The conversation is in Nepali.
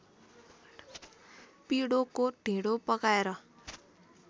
पिडोको ढिँडो पकाएर